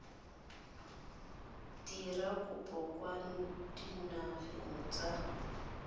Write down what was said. dira kopo kwa dinageng tsa